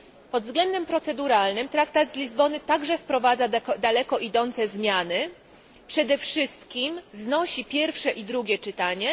Pod względem proceduralnym traktat z Lizbony także wprowadza daleko idące zmiany, przede wszystkim znosi pierwsze i drugie czytanie.